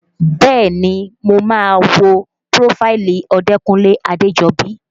Bẹ́ẹ̀ni mo máa wo prófáìlì Odekunle Adejobi